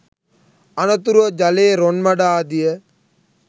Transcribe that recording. අනතුරුව ජලයේ රොන් මඩ ආදිය